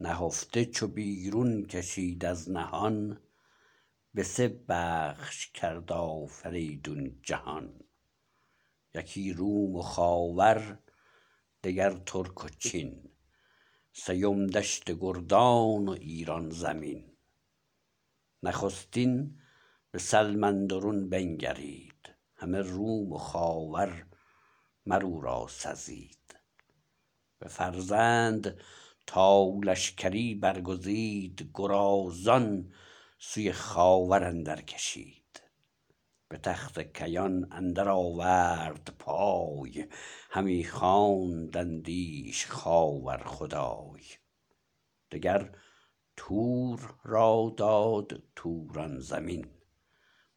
نهفته چو بیرون کشید از نهان به سه بخش کرد آفریدون جهان یکی روم و خاور دگر ترک و چین سیم دشت گردان و ایران زمین نخستین به سلم اندرون بنگرید همه روم و خاور مراو را سزید بفرمود تا لشکری برگزید گرازان سوی خاور اندرکشید به تخت کیان اندر آورد پای همی خواندندیش خاور خدای دگر تور را داد توران زمین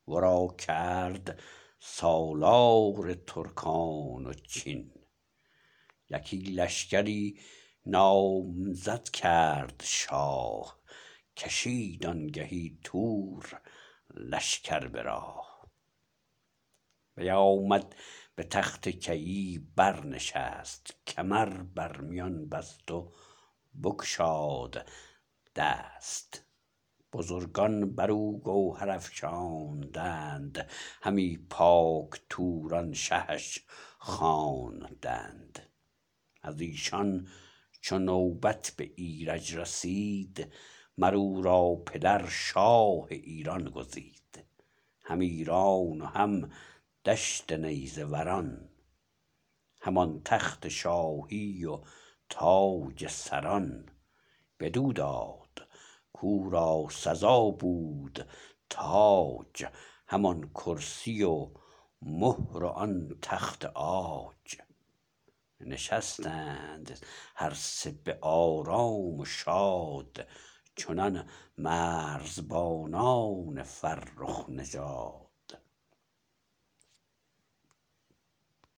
ورا کرد سالار ترکان و چین یکی لشکری نامزد کرد شاه کشید آنگهی تور لشکر به راه بیامد به تخت کیی برنشست کمر بر میان بست و بگشاد دست بزرگان برو گوهر افشاندند همی پاک توران شهش خواندند از ایشان چو نوبت به ایرج رسید مر او را پدر شاه ایران گزید هم ایران و هم دشت نیزه وران هم آن تخت شاهی و تاج سران بدو داد کورا سزا بود تاج همان کرسی و مهر و آن تخت عاج نشستند هر سه به آرام و شاد چنان مرزبانان فرخ نژاد